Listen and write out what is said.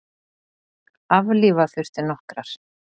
Aflífa þurfti nokkrar.